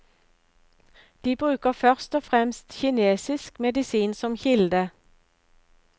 De bruker først og fremst kinesisk medisin som kilde.